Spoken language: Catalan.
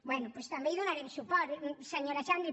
bé doncs també hi donarem suport senyora xandri